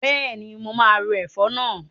Bẹ́ẹ̀ni, mo máa ro ẹ̀fọ́ náà.